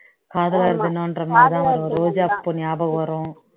காதலர் தினம்ன்ற மாதிரி தான் வரும் ரோஜாப்பூ ஞாபகம் வரும்